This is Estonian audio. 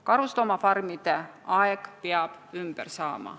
Karusloomafarmide aeg peab ümber saama.